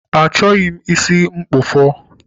Achọghị m isi mkpụfọ